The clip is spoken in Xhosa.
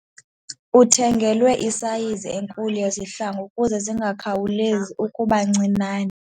Uthengelwe isayizi enkulu yezihlangu ukuze zingakhawulezi ukuba ncinane.